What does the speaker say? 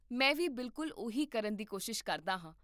ਮੈਂ ਵੀ ਬਿਲਕੁਲ ਉਹੀ ਕਰਨ ਦੀ ਕੋਸ਼ਿਸ਼ ਕਰਦਾ ਹਾਂ